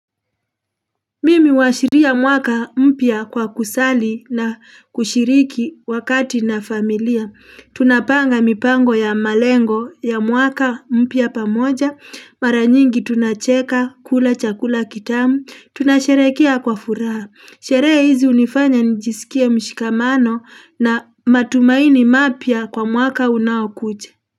Mimi uwashiria mwaka mpya kwa kusali na kushiriki wakati na familia, tunapanga mipango ya malengo ya mwaka mpya pamoja, maranyingi tunacheka, kula chakula kitamu, tunasherekea kwa furaha, sherehe hizi unifanya nijisikie mshikamano na matumaini mapya kwa mwaka unaokuja.